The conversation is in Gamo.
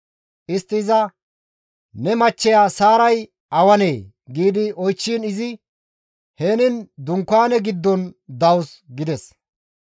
Istti iza, «Ne machcheya Saaray awanee?» gi oychchiin izi, «Henin dunkaane giddon dawus» gides.